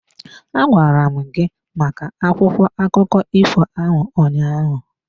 Agwara m gị maka akwụkwọ akụkọ ifo ahụ ụnyaahụ.